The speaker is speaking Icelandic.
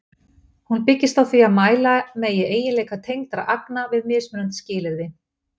Hún byggist á því að mæla megi eiginleika tengdra agna við mismunandi skilyrði.